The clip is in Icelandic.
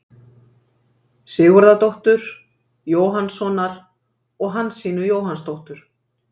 Sigurðardóttur, Jóhannssonar og Hansínu Jóhannsdóttur.